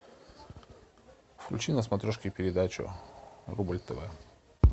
включи на смотрешке передачу рубль тв